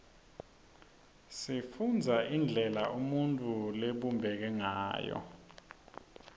sifundza indlela umuntfu labumbeke ngayo